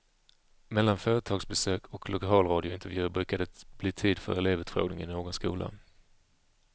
Mellan företagsbesök och lokalradiointervjuer brukar det bli tid för elevutfrågning i någon skola.